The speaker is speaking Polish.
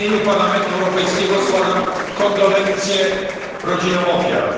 W imieniu Parlamentu Europejskiego składam kondolencje rodzinom ofiar.